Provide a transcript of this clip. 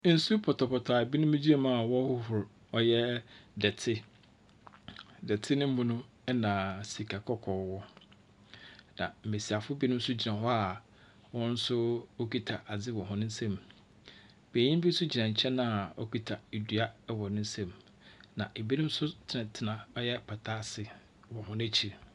Nsu pɔtɔpɔtɔ a binom gyina mu a wɔrohoro ɔyɛ dɛte. Dɛte no mu no na sika kɔkɔɔ wɔ. Na mbesiafo binom nso gyina hɔ a wɔn nso wokita adze wɔ hɔn nsam. Benyin bi nso gyina nkyɛn a okita dua wɔ ne nsam. Na ebinom nso tsenatsena ɔyɛ pata ase wɔ hɔn ekyir.